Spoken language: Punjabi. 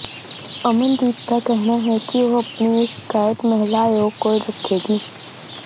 ਅਮਨਦੀਪ ਦਾ ਕਹਿਣਾ ਹੈ ਕਿ ਉਹ ਆਪਣੀ ਇਹ ਸ਼ਿਕਾਇਤ ਮਹਿਲਾ ਆਯੋਗ ਕੋਲ ਰੱਖੇਗੀ